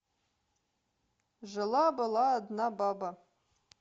жила была одна баба